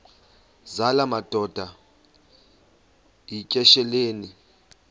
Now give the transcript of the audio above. zala madoda yityesheleni